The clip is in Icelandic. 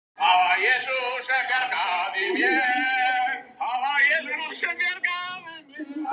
Það var í rauninni aðeins tvennt sem olli honum óróa